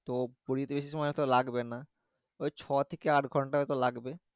তো পুরি তে বেশি সময় তো লাগবে না ঐ ছ থেকে আট ঘন্টার মতো লাগবে